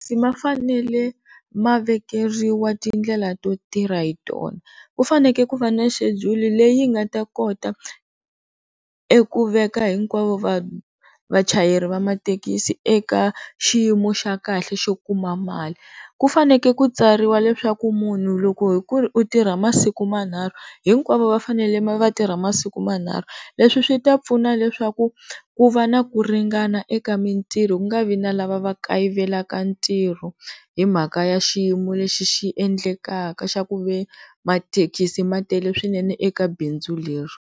Mathekisi mafanele ma vekeriwa tindlela to tirha hi tona, ku fanele ku va na xedulu leyi nga ta kota ta eku veka hinkwavo vachayeri va mathekisi eka xiyimo xa kahle xo kuma mali, ku fanekele ku tsariwa leswaku munhu loko hi ku ri u tirha masiku manharhu hinkwavo va fanele va tirha masiku manharhu leswi swi ta pfuna leswaku ku va na ku ringana eka mitirho ku nga vi na lava va kayivela ka ntirho, hi mhaka ya xiyimo lexi xi endlekaka xa ku ve mathekisi ma tele swinene eka bindzu leri.